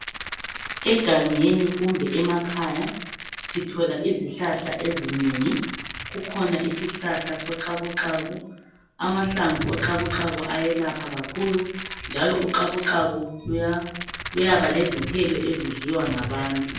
egangeni kumbe emakhaya sithola izihlahla ezinengi kukhona isihlahla soxakuxaku amahlamvu oxakuxaku ayelapha kakhulu njalo uxakuxaku luyaba lezithelo ezidliwa ngabantu